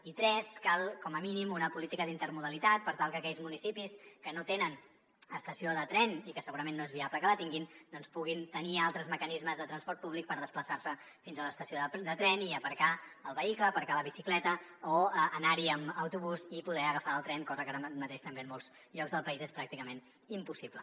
i tres cal com a mínim una política d’intermodalitat per tal que aquells municipis que no tenen estació de tren i que segurament no és viable que la tinguin doncs puguin tenir altres mecanismes de transport públic per desplaçar se fins a l’estació de tren i aparcar el vehicle aparcar la bicicleta o anar hi amb autobús i poder agafar el tren cosa que ara mateix també en molts llocs del país és pràcticament impossible